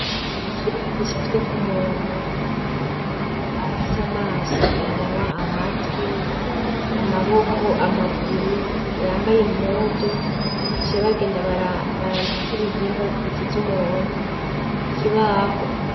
Ikibaho gicafyeko umuntu afise amaso, umunwa, amatwi, amaboko, amaguru, yambaye impuzu; baciye bagenda bara..barandikako ibihimba bigize w'umuntu, ku kibaho.